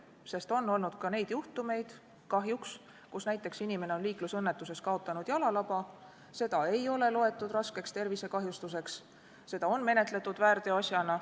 Sest kahjuks on olnud ka neid juhtumeid, kus inimene on liiklusõnnetuses kaotanud jalalaba, seda ei ole aga loetud raskeks tervisekahjustuseks ja on menetletud väärteoasjana.